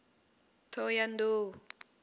thohoyandou